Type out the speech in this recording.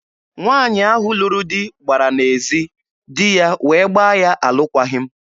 Nwaanyị ahụ lụrụ di gbara n'ezi, di ya wee gbaa ya alụkwaghị m.